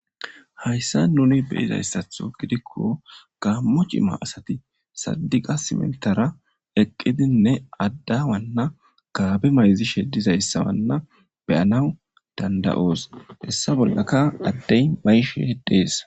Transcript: Hayssa nuni be'iza issatho gidikko gaammo cima asati saddiqa sintta baggara eqqidinne adde wanna gaabe mayzishe diza issa wanna be'anaw dandayoos. He issa bollaka addey mayshe dees.